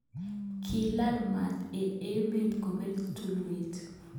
Kilal mat eng emet kobel tulwet.